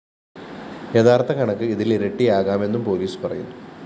യഥാര്‍ത്ഥ കണക്ക് ഇതിലിരട്ടിയാകാമെന്നും പോലീസ് പറയുന്നു